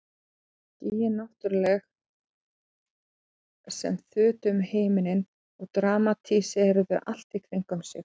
Og skýin náttúrlega sem þutu um himininn og dramatíseruðu allt í kringum sig.